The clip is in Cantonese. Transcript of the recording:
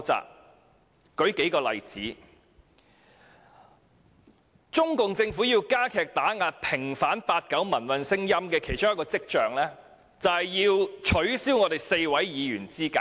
讓我舉數個例子，中共政府為了加強打壓要求平反八九民運的聲音，致力取消4位議員的資格。